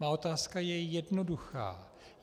Má otázka je jednoduchá.